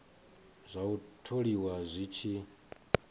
zwa u tholiwa zwi tshi